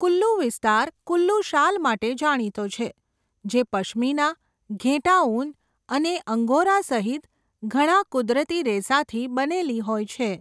કુલ્લુ વિસ્તાર કુલ્લુ શાલ માટે જાણીતો છે, જે પશ્મિના, ઘેટાં ઊન અને અંગોરા સહિત ઘણા કુદરતી રેસાથી બનેલી હોય છે.